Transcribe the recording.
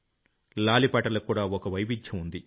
లాలిపాటలకు కూడా ఓ వైవిధ్యం ఉంది